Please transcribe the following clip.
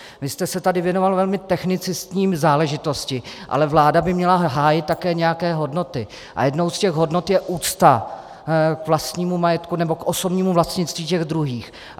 Vy jste se tady věnoval velmi technicistní záležitosti, ale vláda by měla hájit také nějaké hodnoty, a jednou z těch hodnot je úcta k vlastnímu majetku nebo k osobnímu vlastnictví těch druhých.